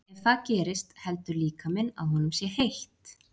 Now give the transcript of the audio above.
Ef það gerist heldur líkaminn að honum sé heitt.